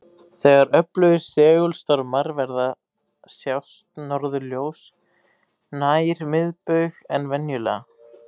Þegar öflugir segulstormar verða sjást norðurljós nær miðbaug en venjulega.